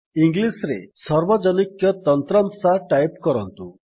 English ରେ ସାର୍ଭଜନିକ ତନ୍ତ୍ରାଂଶ ଟାଇପ୍ କରନ୍ତୁ